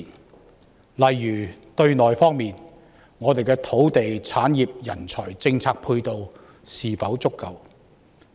舉例說，對內，我們的土地、產業、人才及政策配套是否足夠？